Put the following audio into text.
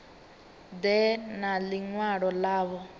ḓe na ḽi ṅwalo ḽavho